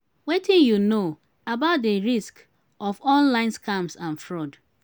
wetin you know about di risks of online scams and fraud?